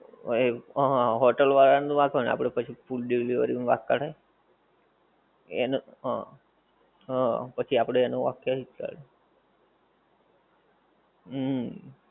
હં એ હોટલ વાળાં નો વાંક હોય ને આપડે પછી food delivery નો વાંક કઢાય. એનો હં, હં પછી આપડે એનો વાંક કેવી રીતે કાઢવો. હુંમ.